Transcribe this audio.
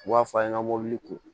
U b'a f'a ɲɛna mobili kun